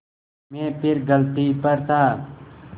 मैं फिर गलती पर था